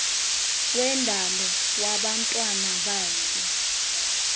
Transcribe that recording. wendalo wabantwana bakhe